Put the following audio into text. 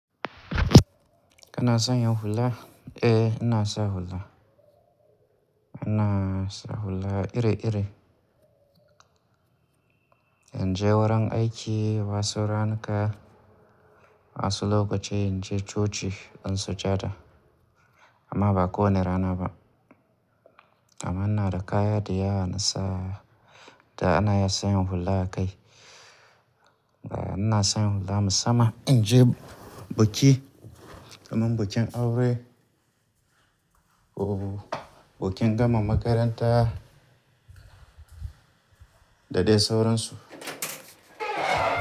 Kana sanya hula? Eh, ina sa hula. Ina sa hula iri-iri. In je wurin aiki, wasu ranuka, wasu lokaci in je coci in sujada. Amma ba kowane rana ba. Amma ina da kaya dayawa na sa, da ana iya sanya hula a kai. Ina san hula musamman in je buki, kamar bukin aure, ko bukin gama makaranta, da dai sauransu.